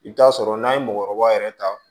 I bɛ t'a sɔrɔ n'a ye mɔgɔkɔrɔba yɛrɛ ta